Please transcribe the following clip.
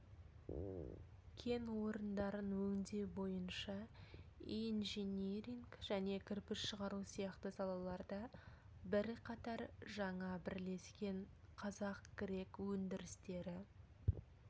кен орындарын өңдеу бойынша инжиниринг және кірпіш шығару сияқты салаларда бірқатар жаңа бірлескен қазақ-грек өндірістері